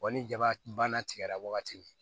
ni jaba tigɛra wagati min